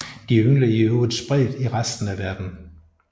Den yngler i øvrigt spredt i resten af landet